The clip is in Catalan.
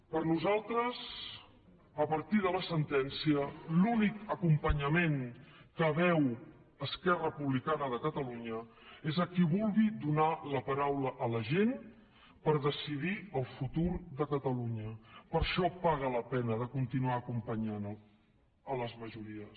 per nosaltres a partir de la sentència l’únic acompanyament que veu esquerra republicana de catalunya és a qui vulgui donar la paraula a la gent per decidir el futur de catalunya per això paga la pena de continuar acompanyant les majories